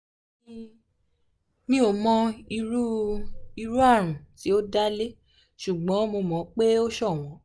mi ò mọ irú irú àrùn tí ó dá lé ṣùgbọ́n mo mọ̀ pé o ṣọ̀wọ́n